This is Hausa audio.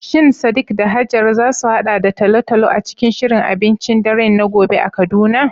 Shin Sadiq da Hajara za su haɗa da talo-talo a cikin shirin abincin dare na gobe a Kaduna?